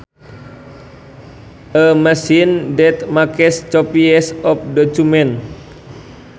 A machine that makes copies of documents